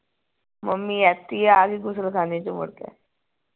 mummy ਐਥੇ ਹੀ ਏ ਆ ਗਈ ਗੁਸਲਖਾਨੇ ਚੋਂ ਮੁੜ ਕੇ